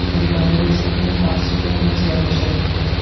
Britaniyada esa eng baxtsiz o‘quvchilar yashaydi.